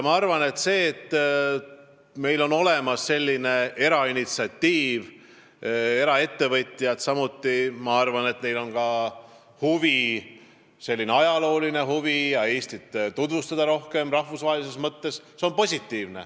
Minu arvates on see, et meil on olemas selline erainitsiatiiv, eraettevõtjad, kellel on huvi ajaloo vastu ja ka huvi Eestit rahvusvaheliselt rohkem tutvustada, väga positiivne.